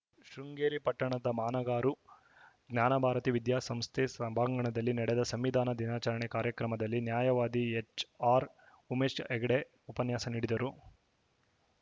ಶೃಂಗೇರಿ ಪಟ್ಟಣದ ಮಾನಗಾರು ಜ್ಞಾನಭಾರತಿ ವಿದ್ಯಾಸಂಸ್ಥೆ ಸಭಾಂಗಣದಲ್ಲಿ ನಡೆದ ಸಂವಿಧಾನ ದಿನಾಚರಣೆ ಕಾರ್ಯಕ್ರಮದಲ್ಲಿ ನ್ಯಾಯವಾದಿ ಎಚ್‌ಆರ್‌ಉಮೇಶ್‌ ಹೆಗ್ಡೆ ಉಪನ್ಯಾಸ ನೀಡಿದರು